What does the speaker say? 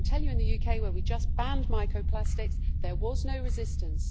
I can tell you that in the UK, where we have just banned microplastics, there was no resistance.